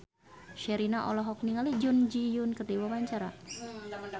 Sherina olohok ningali Jun Ji Hyun keur diwawancara